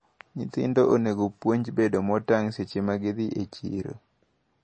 Nyithindo onego opuonj bedo maotang` seche magidhi e chiro.